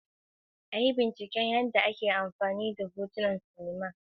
A yi bincike yadda ake amfani da hotunan silima da gyara don sanin yadda suke shafar masu sauraro.